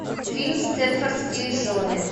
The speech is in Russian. фильм степфордские жены